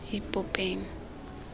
ipopeng